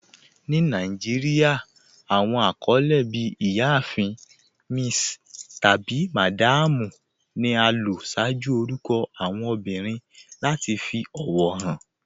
Ní Nàìjíríà, awọn akọlẹ bí "Ìyáàfin." "Miss," tabi "Madam" ni a lò ṣaaju orúkọ awọn obìrín lati fi ọwọ han.